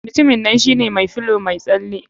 Mutumin nan shine mai filow mai tsale.